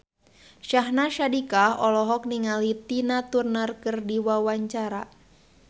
Syahnaz Sadiqah olohok ningali Tina Turner keur diwawancara